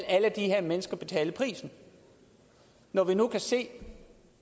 alle de her mennesker betale prisen når vi nu kan se